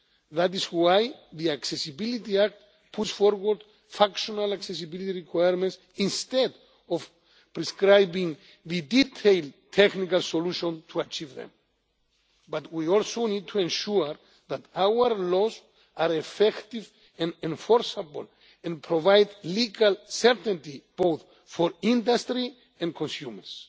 That is why the Accessibility Act puts forward functional accessibility requirements instead of prescribing the detailed technical solutions to achieve them. But we also need to ensure that our laws are effective and enforceable, and provide legal certainty both for industry and consumers.